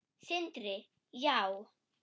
Sindri: Já?